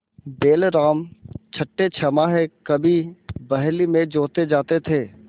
बैलराम छठेछमाहे कभी बहली में जोते जाते थे